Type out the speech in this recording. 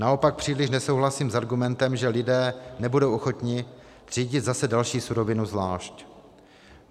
Naopak příliš nesouhlasím s argumentem, že lidé nebudou ochotni třídit zase další surovinu zvlášť.